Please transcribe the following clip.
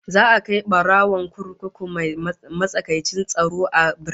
Za a kai barawon kurkuku mai matsakaicin tsaro a birnin